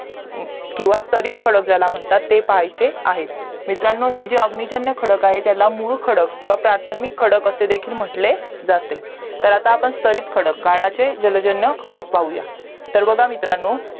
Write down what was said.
किवा स्थरीत खडक ज्याला म्हणतात जे ते पहायचे आहे मित्रांनो हे जे अग्निजन्य खडक आहेत त्याला मूल किवा प्राथमिक खडक असे देखील म्हंटले जाते तर आता आपण स्थरीत खडक काळाचे जलजन्य खडक पाहूया तर बघा मित्रांनो